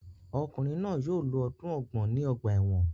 Ọkunrin náà yóò lo ọdun ọgbọ̀n ni ọgba ẹ́wọ̀n